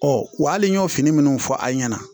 Ɔ wa hali n y'o fini minnu fɔ an ɲɛna